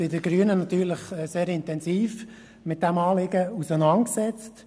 Wir Grünen hatten uns sehr intensiv mit diesem Anliegen auseinandergesetzt.